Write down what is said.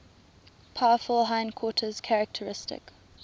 powerful hindquarters characteristic